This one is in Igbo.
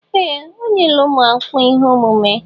Ee! O nyela ụmụ akwụkwọ ihe omume.